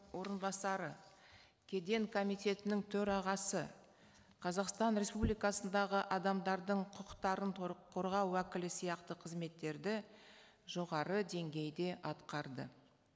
орынбасары кеден комитетінің төрағасы қазақстан республикасындағы адамдардың құқықтарын қорғау уәкілі сияқты қызметтерді жоғары деңгейде атқарды